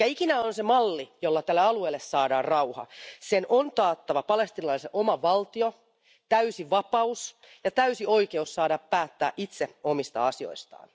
Mikä ikinä onkaan se malli, jolla tälle alueelle saadaan rauha, sen on taattava palestiinalaisille oma valtio, täysi vapaus ja täysi oikeus saada päättää itse omista asioistaan.